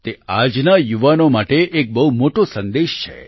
તે આજના યુવાનો માટે એક બહુ મોટો સંદેશ છે